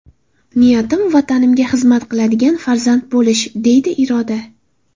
Niyatim Vatanimga xizmat qiladigan farzand bo‘lish”, deydi Iroda.